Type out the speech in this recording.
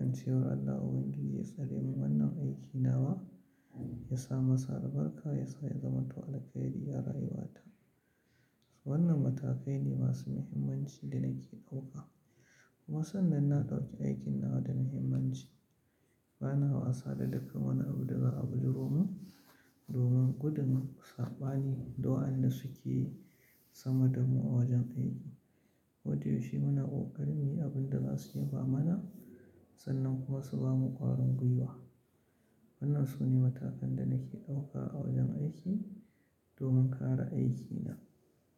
In ce wa Allah Ubangiji ya tsare min wannan aikinawa, yasa masa albarka, yasa ya zama man to alkhari arayuwa ta. Wannan matakai ne masu muhimmanci da nake ɗauka. Kuma sannan na ɗauki aikin nawa da muhimmanci. Ba na wasa da dukkan wani abu da za, abu jiron mu domin gudun saɓani, da wa anda suke yi sama da mu a wajen aiki. Ko da yaushe muna ƙoƙari muyi abin da za su yi ba mana sannan kuma su bamu ƙwarin gwiwa. Wannan su ne matakan da nake ɗauka a wajen aiki domin kare aikina.